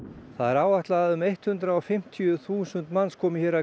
það er áætlað að um hundrað og fimmtíu þúsund manns komi hingað að